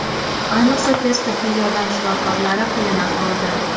Ayniqsa tez tibbiy yordam shifokorlari qiyin ahvolda.